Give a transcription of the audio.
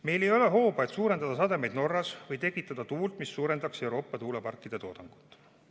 Meil ei ole hooba, et suurendada sademeid Norras või tekitada tuult, mis suurendaks Euroopa tuuleparkide toodangut.